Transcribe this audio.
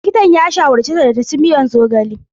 Likitan ya shawarce ta da ta ci miyar zogale.